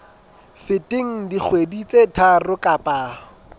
feteng dikgwedi tse tharo kapa